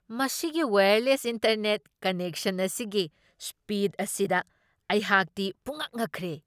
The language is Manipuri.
ꯃꯁꯤꯒꯤ ꯋꯥꯌꯔꯂꯦꯁ ꯏꯟꯇꯔꯅꯦꯠ ꯀꯅꯦꯛꯁꯟ ꯑꯁꯤꯒꯤ ꯁ꯭ꯄꯤꯗ ꯑꯁꯤꯗ ꯑꯩꯍꯥꯛꯇꯤ ꯄꯨꯡꯉꯛ ꯉꯛꯈ꯭ꯔꯦ ꯫